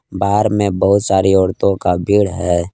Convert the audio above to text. बार में बहुत सारी औरतों का भीड़ है।